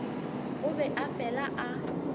o be a fela a